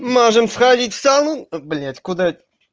можем сходить в сауну блять куда